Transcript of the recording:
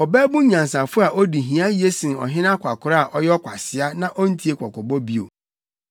Ɔbabun nyansafo a odi hia ye sen ɔhene akwakoraa a ɔyɛ ɔkwasea na ontie kɔkɔbɔ bio.